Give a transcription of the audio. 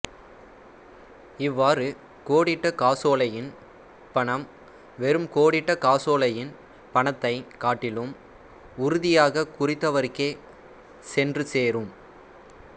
இவ்வாறு கோடிட்ட காசோலையின் பணம் வெறும் கோடிட்ட காசோலையின் பணத்தைக் காட்டிலும் உறுதியாக குறித்தவர்க்கே சென்று சேரும்